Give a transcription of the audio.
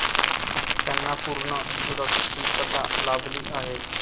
त्यांना पूर्ण सुरक्षितता लाभली आहे.